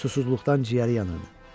Susuzluqdan ciyəri yanırdı.